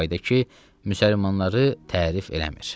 Çi faydə ki, müsəlmanları tərif eləmir.